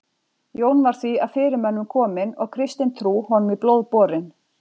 jón var því af fyrirmönnum kominn og kristin trú honum í blóð borin